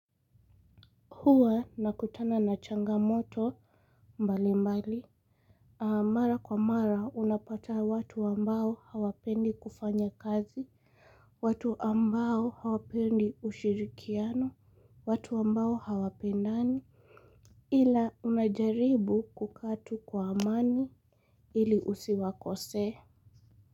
Huwa nakutana na changamoto mbalimbali mara kwa mara unapataa watu ambao hawapendi kufanya kazi watu ambao hawapendi ushirikiano watu ambao hawapendani ila unajaribu kukatu kwa amani ili usiwakose.